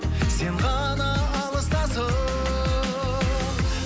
сен ғана алыстасың